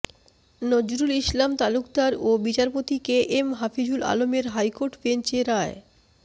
নজরুল ইসলাম তালুকদার ও বিচারপতি K M Hafizul আলমের হাইকোর্ট বেঞ্চ এ রায়